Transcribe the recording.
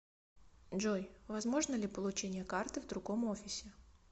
джой возможно ли получение карты в другом офисе